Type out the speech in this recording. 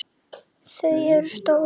Þau eru stór.